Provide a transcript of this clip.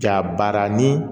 Jabaranin